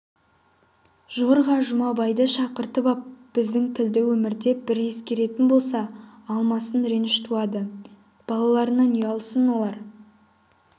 жорға жұмабайды шақыртып ап біздің тілді өмірде бір ескеретін болса алмасын реніш туады балаларынан ұялсын олар